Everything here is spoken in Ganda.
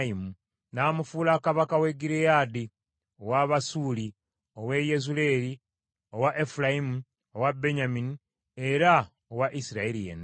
N’amufuula kabaka w’e Gireyaadi, ow’Abasuuli , ow’e Yezuleeri, owa Efulayimu, owa Benyamini era owa Isirayiri yenna.